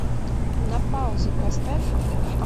на паузе поставь